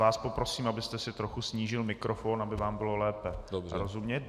Vás poprosím, abyste si trochu snížil mikrofon, aby vám bylo lépe rozumět.